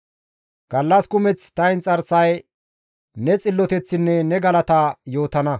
Gallas kumeth ta inxarsay ne xilloteththinne ne galata yootana.